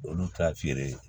Olu ta feere